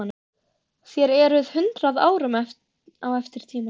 Þér eruð hundrað árum á eftir tímanum.